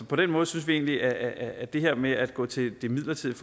på den måde synes vi vi at det her med at gå til et midlertidigt